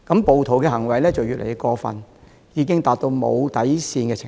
暴徒的行為越來越過分，已到無底線的程度。